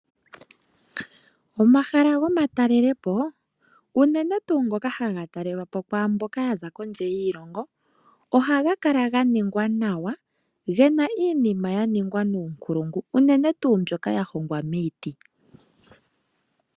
Omahala go ma talele po, unene tuu ngoka haga talelwa po kwaamboka ya za kondje yiilongo, ohaga kala ga ningwa nawa ,gena iinima ya ningwa nuunkulungu, unene tuu mboka ya hongwa miiti .